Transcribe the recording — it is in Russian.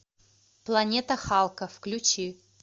планета халка включи